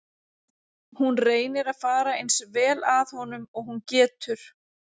Hún reynir að fara eins vel að honum og hún getur.